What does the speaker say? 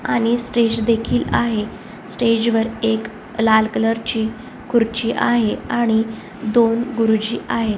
आणि स्टेज देखील आहे स्टेज वर एक लाल कलर ची खुर्ची आहे आणि दोन गुरुजी आहे.